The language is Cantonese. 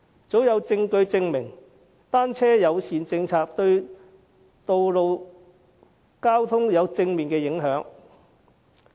早有證據證明，單車友善政策對路面交通有正面影響。